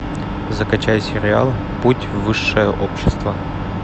закачай сериал путь в высшее общество